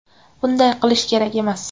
Bunday qilish kerak emas.